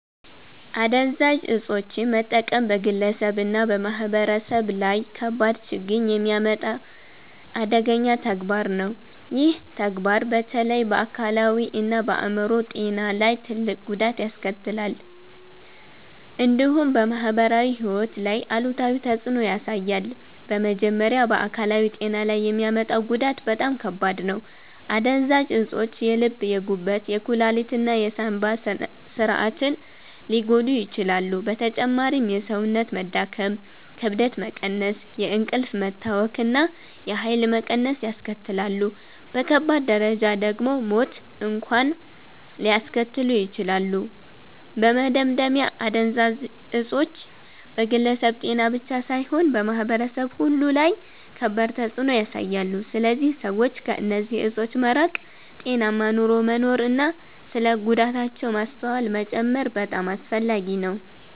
አደንዛዥ እፆችን መጠቀም በግለሰብ እና በማህበረሰብ ላይ ከባድ ችግኝ የሚያመጣ አደገኛ ተግባር ነው። ይህ ተግባር በተለይ በአካላዊ እና በአይምሮ ጤና ላይ ትልቅ ጉዳት ያስከትላል፣ እንዲሁም በማህበራዊ ሕይወት ላይ አሉታዊ ተፅዕኖ ያሳያል። በመጀመሪያ በአካላዊ ጤና ላይ የሚያመጣው ጉዳት በጣም ከባድ ነው። አደንዛዥ እፆች የልብ፣ የጉበት፣ የኩላሊት እና የሳንባ ስርዓትን ሊጎዱ ይችላሉ። በተጨማሪም የሰውነት መዳከም፣ ክብደት መቀነስ፣ የእንቅልፍ መታወክ እና የኃይል መቀነስ ያስከትላሉ። በከባድ ደረጃ ደግሞ ሞት እንኳን ሊያስከትሉ ይችላሉ። በመደምደሚያ አደንዛዥ እፆች በግለሰብ ጤና ብቻ ሳይሆን በማህበረሰብ ሁሉ ላይ ከባድ ተፅዕኖ ያሳያሉ። ስለዚህ ሰዎች ከእነዚህ እፆች መራቅ፣ ጤናማ ኑሮ መኖር እና ስለ ጉዳታቸው ማስተዋል መጨመር በጣም አስፈላጊ ነው።